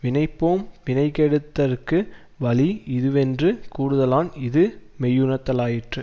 வினைபோம் வினைகெடுதற்கு வழி இதுவென்று கூறுதலான் இது மெய்யுணர்தலாயிற்று